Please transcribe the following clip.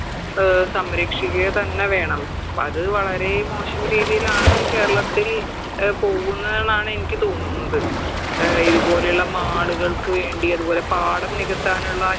ഏർ സംരക്ഷിക്കുക തന്നെ വേണം അത് വളരേ മോശം രീതിയിലാണ് കേരളത്തിൽ ഏർ പോകുന്നേന്നാണ് എനിക്ക് തോന്നുന്നത് ഏർ ഇത് പോലെയുള്ള mall കൾക്ക് വേണ്ടി അതുപോലെ പാടം നികത്താനുള്ള